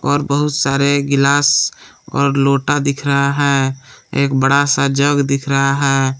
और बहुत सारे गिलास और लोटा दिख रहा है एक बड़ा सा जग दिख रहा है।